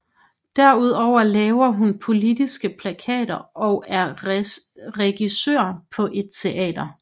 Derudover laver hun politiske plakater og er regissør på et teater